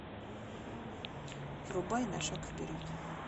врубай на шаг вперед